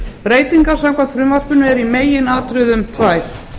breytingar samkvæmt frumvarpinu eru í meginatriðum tvær